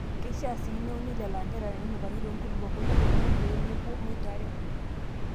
Keishaa sii neuni lelo anterera nenukari too nkulupuok kutik oleng pee mepuo moitare.